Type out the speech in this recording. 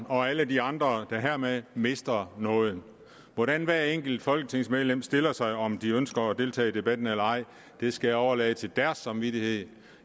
og alle de andre der hermed mister noget hvordan hvert enkelt folketingsmedlem stiller sig og om de ønsker at deltage i debatten eller ej skal jeg overlade til deres samvittighed